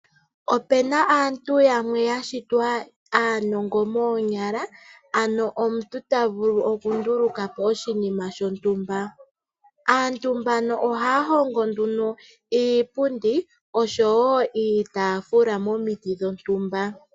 Opu na aantu yamwe ya shitwa aanongo moonyala, ano omuntu ta vulu okunduluka po oshinima shontumba. Aantu mbano ohaya hongo nduno iipundi noshowo iitaafula momiti dhontumba.